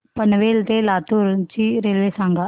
पनवेल ते लातूर ची रेल्वे सांगा